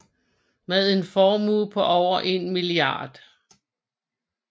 Med en formue på over 1 mia